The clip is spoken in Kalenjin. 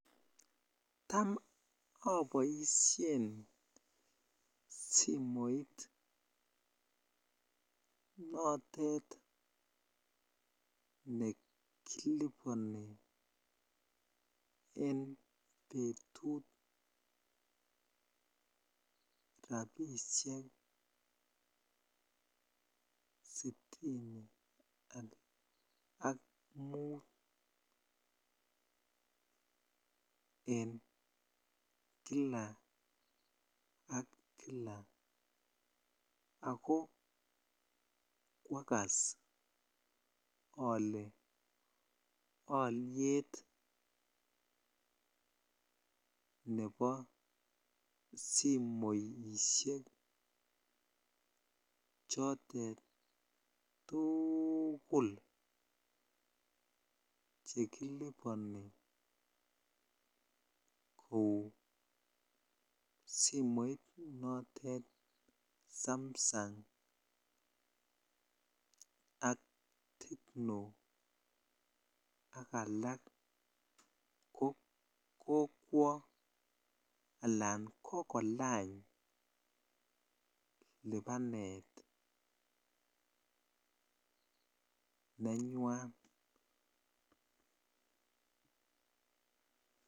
Taam oboishen simoit notet nekiliboni en betut rabishek sitini ak muut en kila ak kila ak ko kwakas olee oliet nebo simoishek chotet tukul chekiliboni kouu simoit notet samsung ak tecno ak alak ko kokwo alaan kokolany libanet nenywan.